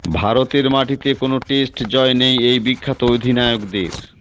ভারতের মাটিতে কোনও টেস্ট জয় নেই এই বিখ্যাত অধিনায়কদের